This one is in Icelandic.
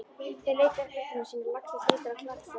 Þeir leita uppruna síns eins og laxinn leitar á klakstöðvarnar.